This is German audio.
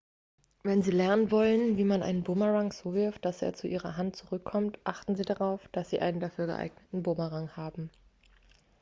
wenn sie lernen wollen wie man einen bumerang so wirft dass er zu ihrer hand zurückkommt achten sie darauf dass sie einen dafür geeigneten bumerang haben